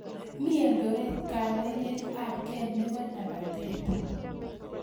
Mi eldoret kabelet ab ge nebo lapatet